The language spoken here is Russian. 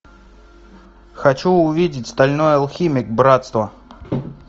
хочу увидеть стальной алхимик братство